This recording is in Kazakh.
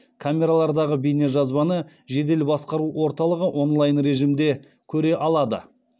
камералардағы бейнежазбаны жедел басқару орталығы онлайн режимінде көре алады